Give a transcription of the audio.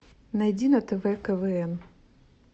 найди на тв квн